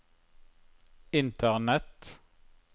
internett